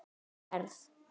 Ég verð.